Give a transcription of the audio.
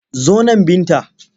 Zo nan Binta!